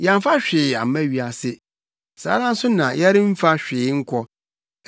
Yɛamfa hwee amma wiase. Saa ara nso na yɛremfa hwee nkɔ.